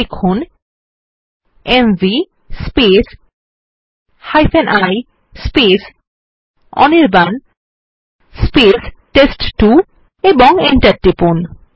লিখুন mv ই Anirban test two এবং Enter টিপুন